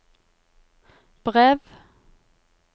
brev